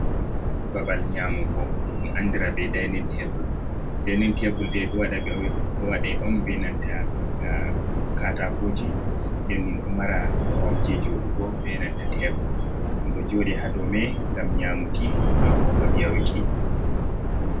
Babal nyamugo ɗum andira be dainin tebl dainin tebul de do do wada on benanta katakoji de min do mara koromje jodugo benanta tebro. dum do jodi hadome gam nyamuki mabo ngam yaruki.